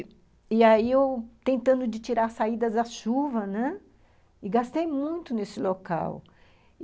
E aí, eu tentando de tirar as saídas da chuva, né, e gastei muito nesse local.